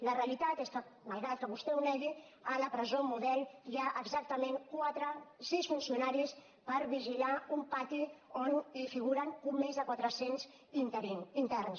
la realitat és que malgrat que vostè ho negui a la presó model hi ha exactament sis funcionaris per vigilar un pati on figuren més de quatre cents interns